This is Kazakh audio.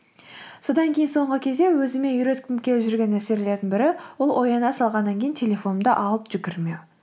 содан кейін соңғы кезде өзіме үйреткім келіп жүрген нәрселердің бірі ол ояна салғаннан кейін телефонымды алып жүгірмеу